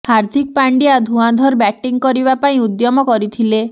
ହାର୍ଦ୍ଦିକ ପାଣ୍ଡ୍ୟା ଧୂଆଁଧର ବ୍ୟାଟିଂ କରିବା ପାଇଁ ଉଦ୍ୟମ କରିଥିଲେ